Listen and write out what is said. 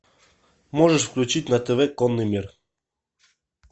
можешь включить на тв конный мир